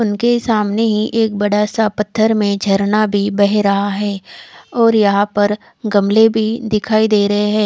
उनके सामने ही एक बड़ा सा पत्थर में झरना भी बह रहा है और यहां पर गमले भी दिखाई दे रहे हैं।